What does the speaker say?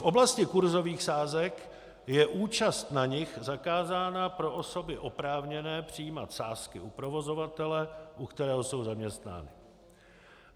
V oblasti kursových sázek je účast na nich zakázána pro osoby oprávněné přijímat sázky u provozovatele, u kterého jsou zaměstnány.